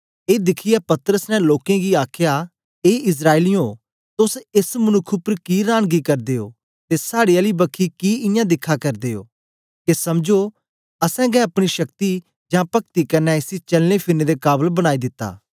ए दिखियै पतरस ने लोकें गी आखया ए इस्राएलियें तोस एस मनुक्ख उपर कि रांनगी करदे ओ ते साड़ी आली बखी कि इयां दिखा करदे ओ के समझो असेंगै अपनी शक्ति जां पक्ति कन्ने इसी चलनेफिरने दे काबल बनाई दिता